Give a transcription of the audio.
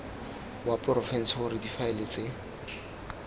wa porofense gore difaele tse